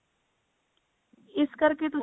ਇਸ ਕਰਕੇ ਤੁਸੀਂ